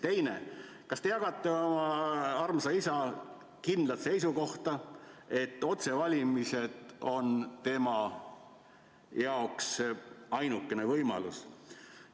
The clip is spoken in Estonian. Teine: kas te jagate oma armsa isa kindlat seisukohta, et otsevalimised on tema jaoks ainukene võimalus?